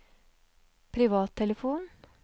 privattelefon